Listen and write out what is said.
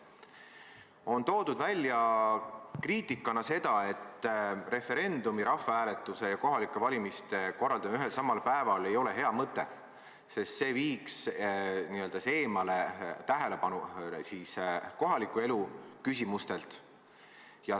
Kriitikana on toodud välja, et referendumi, rahvahääletuse ja kohalike valimiste korraldamine ühel ja samal päeval ei ole hea mõte, sest see viiks tähelepanu eemale kohaliku elu küsimustelt.